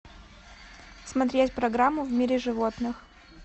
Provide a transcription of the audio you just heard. смотреть программу в мире животных